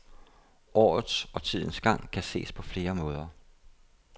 Årets og tidens gang kan ses på flere måder.